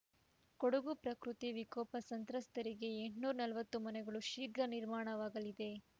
ಕೊಡಗು ಪ್ರಕೃತಿ ವಿಕೋಪ ಸಂತ್ರಸ್ತರಿಗೆ ಎಂಟುನೂರ ನಲವತ್ತು ಮನೆಗಳು ಶೀಘ್ರ ನಿರ್ಮಾಣವಾಗಲಿದೆ